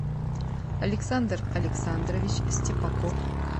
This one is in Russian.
александр александрович степаков